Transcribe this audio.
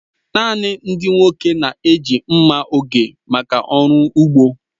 Naanị ndị nwoke na-eji mma oge maka ọrụ ugbo.